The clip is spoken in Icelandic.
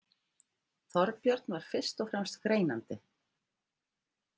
Þorbjörn var fyrst og fremst greinandi.